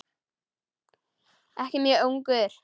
Ég elska þig, Lási.